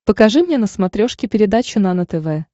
покажи мне на смотрешке передачу нано тв